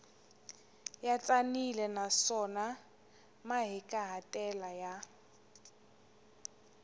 ya tsanile naswona mahikahatelo ya